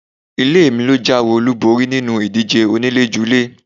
Ilé mi lọ já ewé olúborí nínú ìdíje oníléjulé.